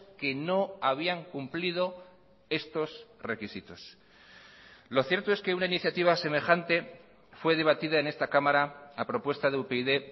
que no habían cumplido estos requisitos lo cierto es que una iniciativa semejante fue debatida en esta cámara a propuesta de upyd